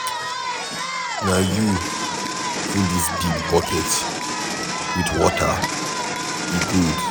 Na you full dis big bucket with water, e good.